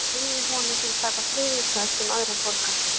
Ég hélt ég leigði honum fyrir tæpan þriðjung þess, sem aðrir borga.